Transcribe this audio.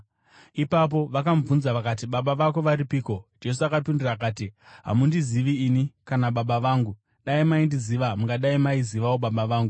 Ipapo vakamubvunza vakati, “Baba vako varipiko?” Jesu akapindura akati, “Hamundizivi ini kana Baba vangu. Dai maindiziva mungadai maizivawo Baba vangu.”